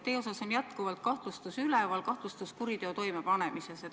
Teie suhtes on jätkuvalt üleval kahtlustus kuriteo toimepanemises.